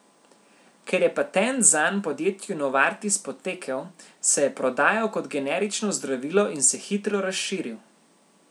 Ker je patent zanj podjetju Novartis potekel, se je prodajal kot generično zdravilo in se hitro razširil.